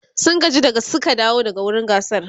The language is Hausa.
sun gaji da Suka dawo daga wurin gasar